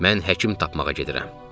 Mən həkim tapmağa gedirəm.